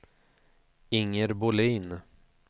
Inger Bohlin